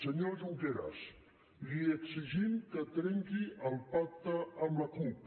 senyor junqueras li exigim que trenqui el pacte amb la cup